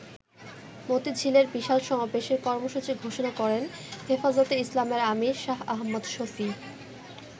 মতিঝিলের বিশাল সমাবেশে কর্মসূচি ঘোষণা করেন হেফাজতে ইসলামের আমির শাহ আহম্মদ শফী।